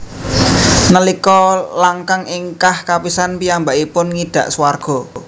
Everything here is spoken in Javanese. Nalika langkang ingkah kapisan piyambakipun ngidak swarga